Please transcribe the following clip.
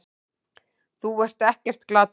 Þú ert ekkert glataður.